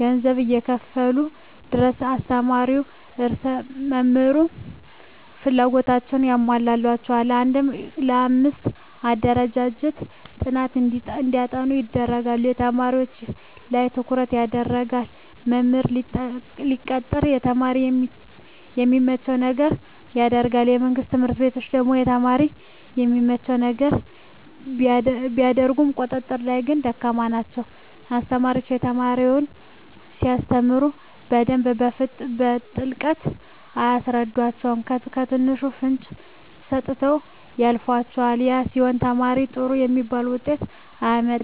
ገንዘብ እስከከፈሉ ድረስ አስተማሪዉም ሆነ ርዕሰ መምህሩ ፍላጎታቸዉን ያሟሉላቸዋል አንድ ለአምስት አደራጅተዉ ጥናት እንዲያጠኑ ያደርጓቸዋል በተማሪዎች ላይ ትኩረት ይደረጋል መምህር ሲቀጠር ለተማሪ የሚመቸዉን ነገር ያደርጋል በመንግስት ትምህርት ቤቶች ደግሞ ለተማሪ የሚመቸዉን ነገር ቢያደርጉም ቁጥጥር ላይ ግን ደካማ ናቸዉ አስተማሪዎች ለተማሪ ሲያስተምሩ በደንብ በጥልቀት አያስረዷቸዉም በትንሹ ፍንጭ ሰጥተዉ ያልፏቸዋል ያ ሲሆን ተማሪዉ ጥሩ የሚባል ዉጤት አያመጣም ቁጥጥር ላይ ቸልተኝነት ይበዛል